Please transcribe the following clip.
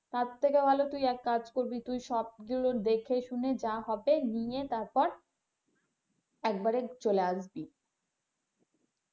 তার থেকে ভালো তুই এক কাজ করবি তুই সবগুলো দেখে শুনে যা হবে নিয়ে তারপর একবারে চলে আসবি।